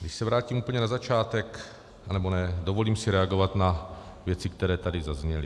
Když se vrátím úplně na začátek, nebo ne, dovolím si reagovat na věci, které tady zazněly.